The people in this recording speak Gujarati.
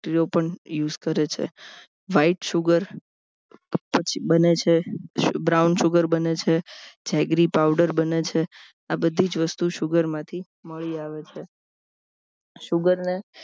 ઓ પણ use કરે છે white sugar પછી બને છે brown sugar બને છે agree powder બને છે આ બધી જ વસ્તુ sugar માંથી મળી આવે છે sugar ને